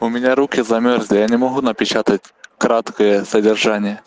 у меня руки замёрзли я не могу напечатать краткое содержание